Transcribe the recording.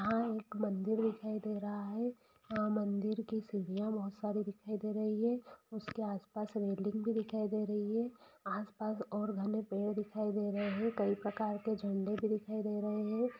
आ-एक मंदिर दिखाई दे रहा है अ-मंदिर की सीढ़िया बहुत सारी दिखाई दे रही है उसके आस पास रेलिंग भी दिखाई दे रही है आस-पास और घने पेड़ दिखाई दे रहे है कई प्रकार के झंडे भी दिखाई दे रहे है।